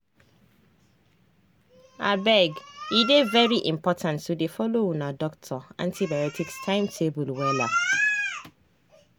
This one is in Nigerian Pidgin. abege dey very important to dey follow una doctor antibiotics timetable wella.